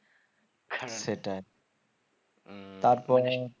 সেটাই তারপরে